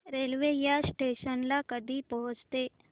railway या station ला कधी पोहचते